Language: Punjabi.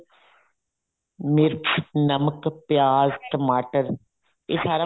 ਮਿਰਚ ਨਮਕ ਪਿਆਜ ਟਮਾਟਰ ਇਹ ਸਾਰਾ